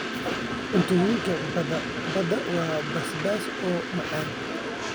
Cuntooyinka badda waa basbaas oo macaan.